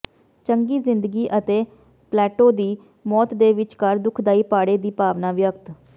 ਚੰਗੀ ਜ਼ਿੰਦਗੀ ਅਤੇ ਪਲੈਟੋ ਦੀ ਮੌਤ ਦੇ ਵਿਚਕਾਰ ਦੁਖਦਾਈ ਪਾੜੇ ਦੀ ਭਾਵਨਾ ਵਿਅਕਤ